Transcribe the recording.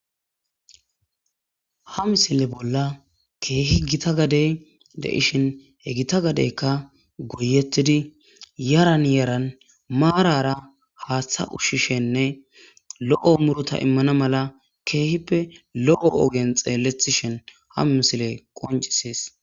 Ha misile bolla keehi gita gadey de ishhin he gita gadeykka goyettidi yaran yaran maarara haaththa ushshishenne lo'o murota immana mala keehippe lo'o ogen xeellethishin ha misile qoncisis.